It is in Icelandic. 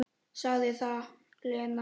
Sagði það, Lena.